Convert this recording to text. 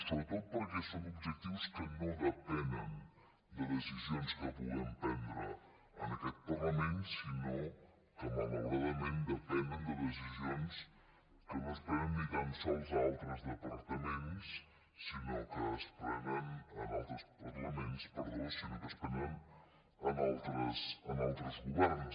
sobretot perquè són objectius que no depenen de decisions que puguem prendre en aquest parlament sinó que malauradament depenen de decisions que no es prenen ni tan sols en altres parlaments sinó que es prenen en altres governs